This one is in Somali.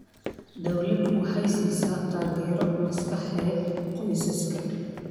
Dawladdu waxay siisaa taageero maskaxeed qoysaska.